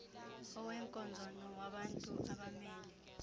oweenkonzo nowabantu abamele